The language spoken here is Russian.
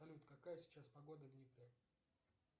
салют какая сейчас погода в днепре